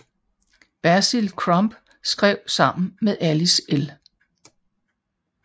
Basil Crump skrev sammen med Alice L